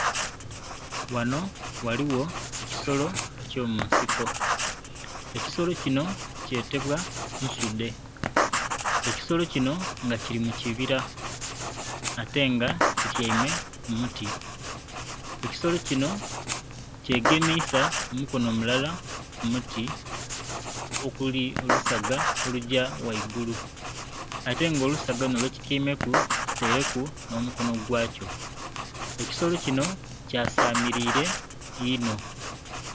Ghanho ghaligho ekisolo eky'omunsiko, ekisolo kinho kyetebwa nsudhe, ekisolo kinho nga kili mu kibira ate nga kityaime ku muti. Ekisolo kinho kyegemiisa omukono mulala ku muti okuli olusaga olugya ghaigulu ate nga olusaga lunho lwekityaimeku kitaireku nh'omukono gwakyo. Ekisolo kinho kyasamilire inho.